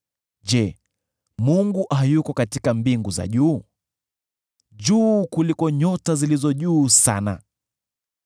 “Je, Mungu hayuko katika mbingu za juu? Juu kuliko nyota zilizo juu sana!